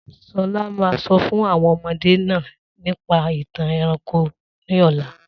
Solá ma sọ fún àwọn ọmọde náà nípa ìtàn ẹranko ní ọ̀la.